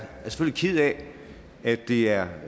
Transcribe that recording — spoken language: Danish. ked af at det er